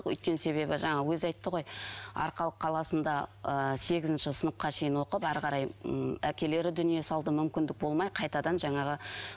өйткен себебі жаңағы өзі айтты ғой арқалық қаласында ы сегізінші сыныпқа шейін оқып әрі қарай ммм әкелері дүние салды мүмкіндік болмай қайтадан жанағы